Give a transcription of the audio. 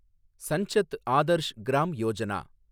Sansad Adarsh Gram Yojana